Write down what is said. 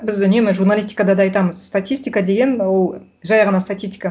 біз үнемі журналистикада да айтамыз статистика деген ол жай ғана статистика